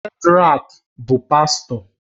Shedrack bụ pastọ